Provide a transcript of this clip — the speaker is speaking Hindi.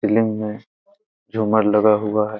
सीलिंग में झूमर लगा हुआ है ।